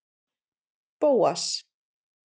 Bóas